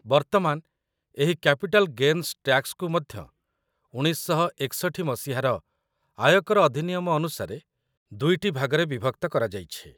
ବର୍ତ୍ତମାନ, ଏହି capital gains ଟ୍ୟାକ୍ସକୁ ମଧ୍ୟ, ୧୯୬୧ ମସିହାର ଆୟକର ଅଧିନିୟମ ଅନୁସାରେ, ଦୁଇଟି ଭାଗରେ ବିଭକ୍ତ କରାଯାଇଛି |